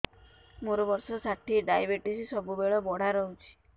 ମୋର ବର୍ଷ ଷାଠିଏ ଡାଏବେଟିସ ସବୁବେଳ ବଢ଼ା ରହୁଛି